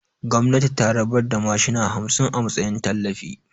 Gwamnati ta rabar da mashina hamsin a matsayin tallafi